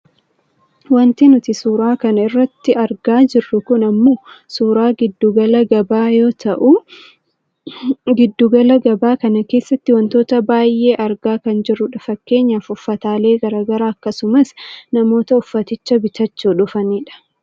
Wanti nuti suuraa kana irratti argaa jirru kun ammoo suuraa giddu gala gabaa yoo ta'u giddu gala gabaa kana keessattii wantoota baayyee argaa kan jirrudha. Fakkeenyaaf uffataalee gara garaa akkasumas namoota uffaticha bitachuu dhufanidha